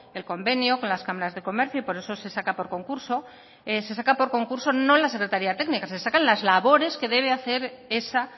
el convenio con las cámaras de comercio y por eso se saca por concurso se saca por concurso no la secretaría técnica se sacan las labores que debe hacer esa